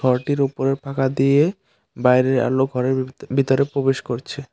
ঘরটির উপরের ফাঁকা দিয়ে বাইরের আলো ঘরের ভি ভিতরে প্রবেশ করছে।